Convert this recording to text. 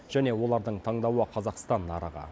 және олардың таңдауы қазақстан нарығы